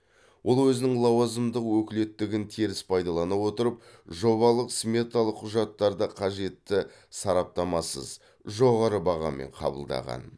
ол өзінің лауазымдық өкілеттігін теріс пайдалана отырып жобалық сметалық құжаттарды қажетті сараптамасыз жоғары бағамен қабылдаған